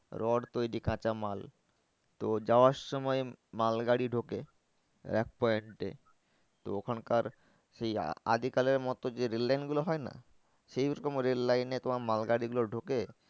rod তৈরির কাঁচা মাল তো যাওয়ার সময় মালগাড়ি ঢোকে rack point এ তো ওখানকার সেই আগেকারের মতো যে rail line গুলো হয় না সেই ওরকম rail line এ তোমার মাল গাড়ি গুলো ঢোকে